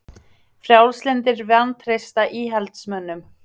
Frjálslyndir vantreysta íhaldsmönnum